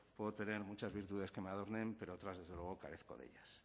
puedo tener muchas virtudes que me adornen pero otras desde luego carezco de ellas